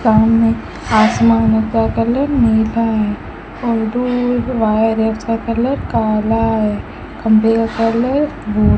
सामने आसमान का कलर नीला है और दूर जो वायर है उसका कलर काला है खंभे का कलर भू --